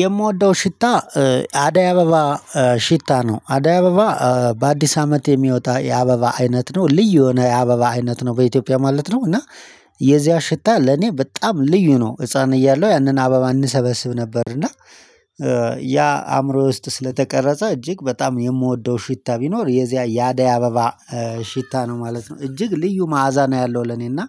የምወደው ሽታ አዳይ አበባ ሽታ ነው አዳይ አበባ በአዲስ አመት የሚወጣ የአበባ አይነት ነው ልዩ የሆነ የአበባ አይነት ነው በኢትዮጵያ ማለት ነው። እና የዚያ ሽታ ለኔ በጣም ልዩ ነው። ህፃን እያለሁ ያንን አበባ እንሰበስብ ነበር። እና ያ አእምሮዬ ውስጥ ስለተቀረጸ እጅግ በጣም የምወደው ሽታ ቢኖር የዚያ የአዳይ አበባ ሽታ ነው ማለት ነው። እጅግ ልዩ መዓዛ ነው ያለው። ለኔና